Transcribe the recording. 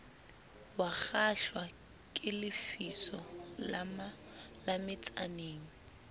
wakgahlwa ke lefiso la metsaneng